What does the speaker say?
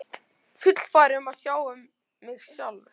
Fullfær um að sjá um mig sjálf.